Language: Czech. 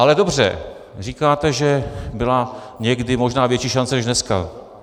Ale dobře, říkáte, že byla někdy možná větší šance než dneska.